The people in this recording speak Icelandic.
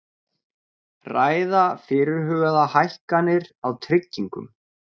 Ræða fyrirhugaðar hækkanir á tryggingum